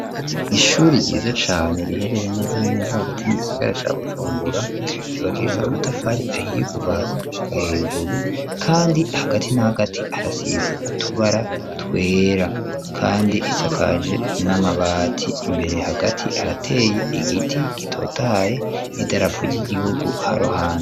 ishuri ryiza cane riherereye neza na neza hagati mu gisagara ca Bujumbura ryubakishijwe amatafari ahiye kuva hasi gushika hejuru, kandi hagati na hagati harasize utubara twera, kandi isakaje n'amabati, imbere hagati harateye igiti gitotahaye n'idarapu ry'igihugu haruhande.